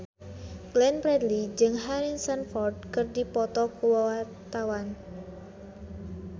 Glenn Fredly jeung Harrison Ford keur dipoto ku wartawan